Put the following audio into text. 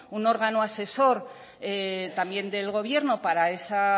un órgano asesor también del gobierno para ese